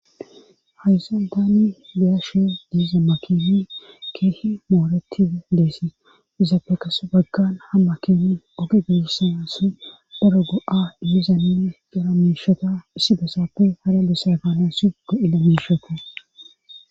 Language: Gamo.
Hayssan tani be'ashe diiza makini keehi mooreti leessi izaafekas baggan ha ma keni ogi gissa si daro go7a dimizamin gara meeshota issi besapfe hara besafenasi go7ida meeshota.